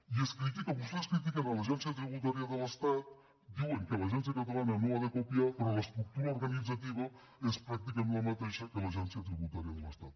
i vostès critiquen l’agència tributària de l’estat diuen que l’agència catalana no l’ha de copiar però l’estructura organitzativa és pràcticament la mateixa que l’agència tributària de l’estat